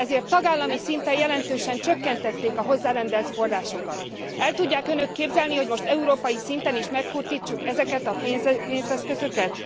Ezért tagállami szinten jelentősen csökkentették a hozzárendelt forrásokat. El tudják Önök képzelni, hogy most európai szinten is megkurtítsuk ezeket a pénzeszközöket?